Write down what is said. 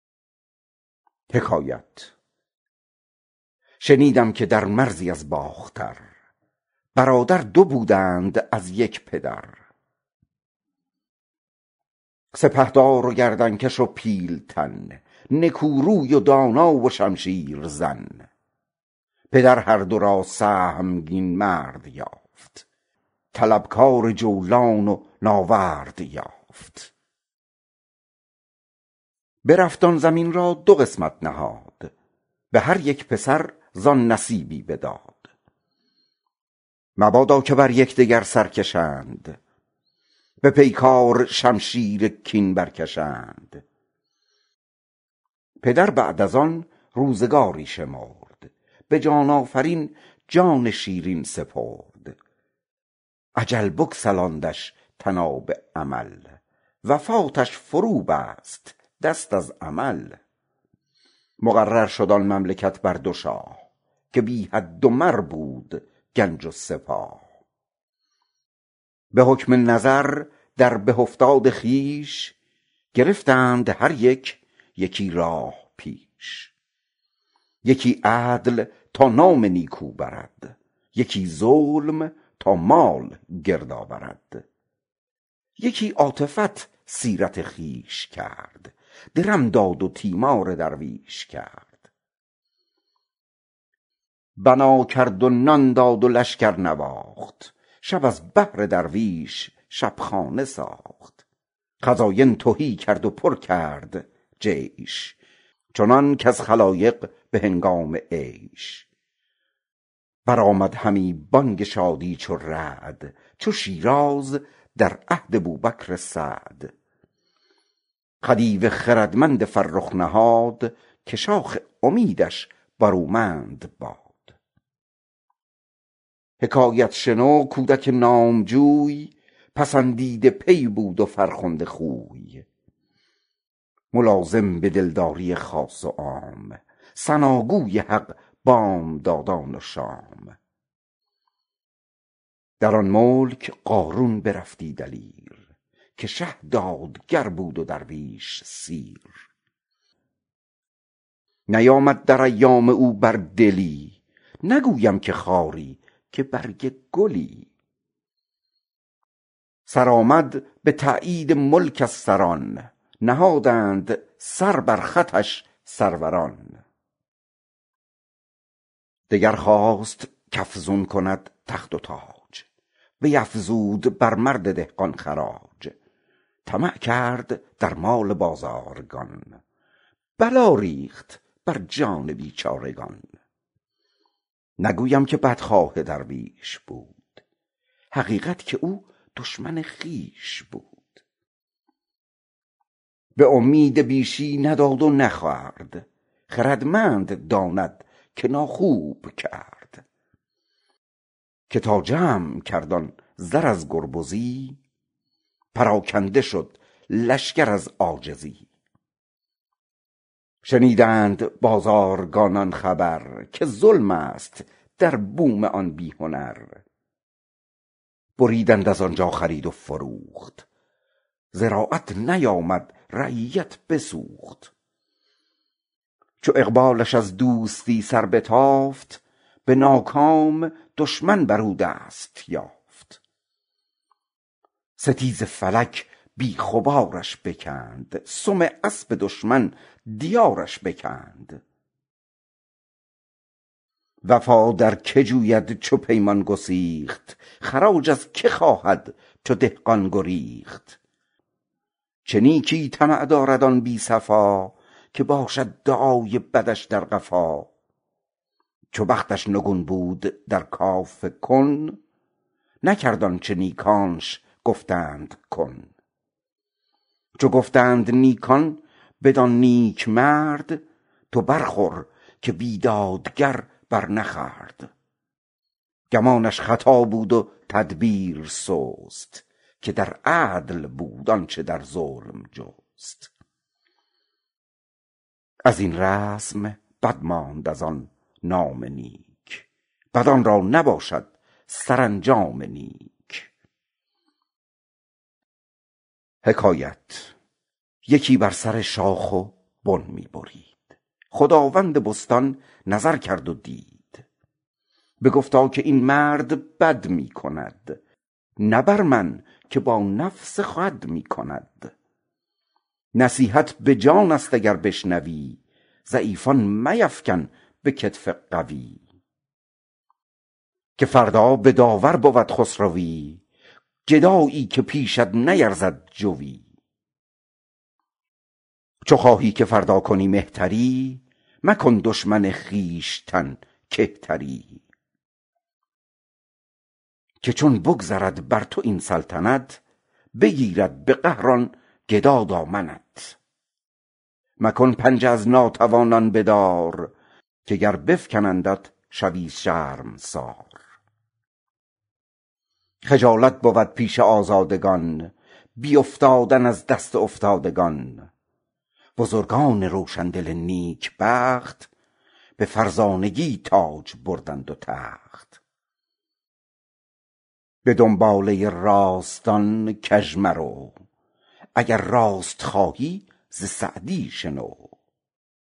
شنیدم که در مرزی از باختر برادر دو بودند از یک پدر سپهدار و گردن کش و پیلتن نکو روی و دانا و شمشیر زن پدر هر دو را سهمگین مرد یافت طلبکار جولان و ناورد یافت برفت آن زمین را دو قسمت نهاد به هر یک پسر زآن نصیبی بداد مبادا که بر یکدگر سر کشند به پیکار شمشیر کین برکشند پدر بعد از آن روزگاری شمرد به جان آفرین جان شیرین سپرد اجل بگسلاندش طناب امل وفاتش فرو بست دست عمل مقرر شد آن مملکت بر دو شاه که بی حد و مر بود گنج و سپاه به حکم نظر در به افتاد خویش گرفتند هر یک یکی راه پیش یکی عدل تا نام نیکو برد یکی ظلم تا مال گرد آورد یکی عاطفت سیرت خویش کرد درم داد و تیمار درویش خورد بنا کرد و نان داد و لشکر نواخت شب از بهر درویش شبخانه ساخت خزاین تهی کرد و پر کرد جیش چنان کز خلایق به هنگام عیش برآمد همی بانگ شادی چو رعد چو شیراز در عهد بوبکر سعد خدیو خردمند فرخ نهاد که شاخ امیدش برومند باد حکایت شنو کان گو نامجوی پسندیده پی بود و فرخنده خوی ملازم به دلداری خاص و عام ثناگوی حق بامدادان و شام در آن ملک قارون برفتی دلیر که شه دادگر بود و درویش سیر نیامد در ایام او بر دلی نگویم که خاری که برگ گلی سرآمد به تأیید ملک از سران نهادند سر بر خطش سروران دگر خواست کافزون کند تخت و تاج بیافزود بر مرد دهقان خراج طمع کرد در مال بازارگان بلا ریخت بر جان بیچارگان به امید بیشی نداد و نخورد خردمند داند که ناخوب کرد که تا جمع کرد آن زر از گربزی پراکنده شد لشکر از عاجزی شنیدند بازارگانان خبر که ظلم است در بوم آن بی هنر بریدند از آنجا خرید و فروخت زراعت نیامد رعیت بسوخت چو اقبالش از دوستی سر بتافت به ناکام دشمن بر او دست یافت ستیز فلک بیخ و بارش بکند سم اسب دشمن دیارش بکند وفا در که جوید چو پیمان گسیخت خراج از که خواهد چو دهقان گریخت چه نیکی طمع دارد آن بی صفا که باشد دعای بدش در قفا چو بختش نگون بود در کاف کن نکرد آنچه نیکانش گفتند کن چه گفتند نیکان بدان نیکمرد تو برخور که بیدادگر بر نخورد گمانش خطا بود و تدبیر سست که در عدل بود آنچه در ظلم جست یکی بر سر شاخ بن می برید خداوند بستان نگه کرد و دید بگفتا گر این مرد بد می کند نه با من که با نفس خود می کند نصیحت بجای است اگر بشنوی ضعیفان میفکن به کتف قوی که فردا به داور برد خسروی گدایی که پیشت نیرزد جوی چو خواهی که فردا به وی مهتری مکن دشمن خویشتن کهتری که چون بگذرد بر تو این سلطنت بگیرد به قهر آن گدا دامنت مکن پنجه از ناتوانان بدار که گر بفکنندت شوی شرمسار که زشت است در چشم آزادگان بیافتادن از دست افتادگان بزرگان روشندل نیکبخت به فرزانگی تاج بردند و تخت به دنباله راستان کج مرو وگر راست خواهی ز سعدی شنو